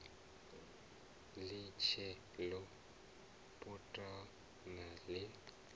ḽi tshee ḽo putana ḽi